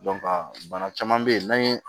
bana caman bɛ yen n'an ye